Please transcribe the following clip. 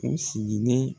U sigilen